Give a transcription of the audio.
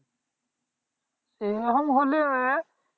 এরকম হলে